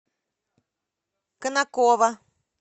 конаково